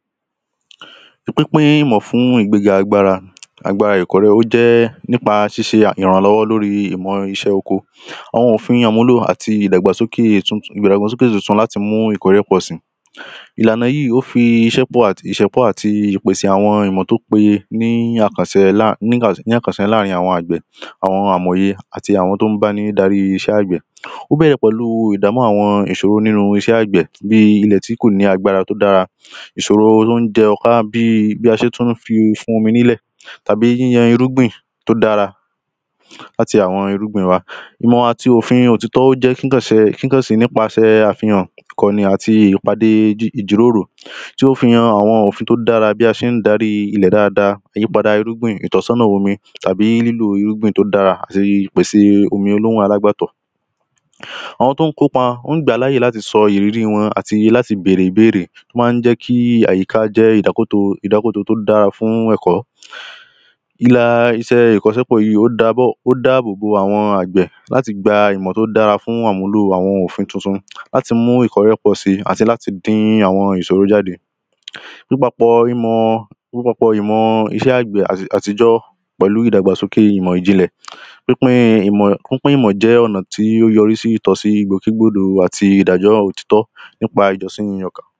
pínpín ìmọ̀ fún ìgbéga agbára agbára ìkọ́lẹ̀ ó jẹ́ nípa ṣíṣe ìrànlọ́wọ́ lóríi ìmọ̀ iṣẹ́ oko àwọn òfin àmúlò àti ìdàgbàsókè ìdàgbàsókè tuntun láti mú ìkórè pọ̀si ìlànà yíì ó fi ìṣẹ́pọ̀ àti ìṣẹ́pọ̀ àti ìpèsè àwọn ìmọ̀ tó peye ní àkàsẹ lá ní àkàsẹ láàrin àwọn àgbẹ̀ àwọn amòye àti àwọn tó ń bá ni darí iṣẹ́ àgbẹ̀ ó bẹ̀rẹ̀ pẹ̀lú ìdàmú àwọn ìṣòrò nínú iṣẹ́ àgbẹ̀ bíi ilẹ̀ tí kò ní agbára tó dára ìṣòro ló ń jẹ́ o kárá bíi bí a ṣé tún fi fún omi nílẹ̀ tàbí yíyan irúgbìn tó dára láti àwọn irúgbìn wa ìmọ̀ àti òfin òtítọ́ ó jẹ́ kíkànsẹ kìkànsìn nípasẹ̀ àfihàn ìkọ̀nì àti ìpàdé ìjíròrò tí ó fi hàn àwọn òfin tó dára bí a ṣe ń darí ilẹ̀ dáadáa àyípadà irúgbìn ìtọ́sọ́nà omi tàbí lílò irúgbìn tó dára àti ìpèsè omi olóhùn alágbàtọ̀ àwọn tó ń kópa wọ́n gbàá láàyè láti sọ ìrírí wọn àti láti bèrè ìbéèrè má ń jẹ́ kí àyíká jẹ́ ìdákóto ìdákóto tó dáa fún ẹ̀kọ́ ilà iṣẹ́ ìkọ́sẹ́pọ̀ yìí ó dáábọ̀ ó dáàbò bo àwọn àgbẹ̀ láti gba ìmọ̀ tó dára fún àmúlò àwọn òfin tuntun láti mú ìkọ̀rẹ́pọ̀ si àti láti dín àwọn ìṣòro jáde nípapọ̀ imọ̀ nípapọ̀ imọ̀ iṣẹ́ àgbẹ̀ àtijọ́ pẹ̀lú ìdàgbàsókè ìmọ̀ ìjìnlẹ̀ pínpín imọ̀ pínpín ìmọ̀ jẹ́ ọ̀nà tí ó yorísí ìtọ́sí gbòké gbòdò àti ìdájọ́ òtítọ́ nípa ìjọ́sí ní ọkàn